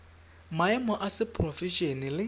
maemo a seporofe ene le